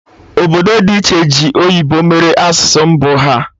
Obodo dị iche ji oyibo mere asụsụ mbụ ha